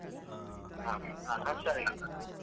ಹಾ ನಾನ್ ಹುಷಾರಾಗಿದ್ದೇನೆ.